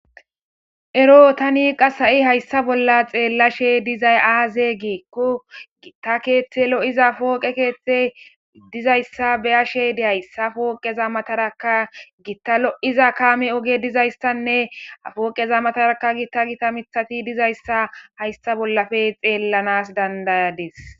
Ero tani qas ha'i hayssa bolla xeellashe dizay aaze giikku gitta keeththe lo'iza fooqe keeththe dizayssa beyashedi hayssa fooqeza mataraka gitta lo'iza kaame oge dizayssanne afooqeza matarakka gitta gita mithati dizayssa hayssa bollafe xeellanas dandayadis.